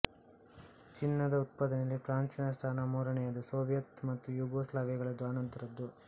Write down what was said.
ಚಿನ್ನದ ಉತ್ಪಾದನೆಯಲ್ಲಿ ಫ್ರಾನ್ಸಿನ ಸ್ಥಾನ ಮೂರನೆಯದುಸೋವಿಯತ್ ಮತ್ತು ಯೂಗೋಸ್ಲಾವಿಯಗಳದು ಅನಂತರದ್ದು